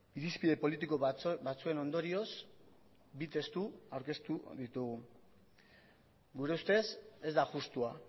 irizpide politiko batzuen ondorioz bi testu aurkeztu ditugu gure ustez ez da justua